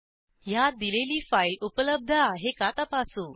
ह्यात दिलेली फाईल उपलब्ध आहे का तपासू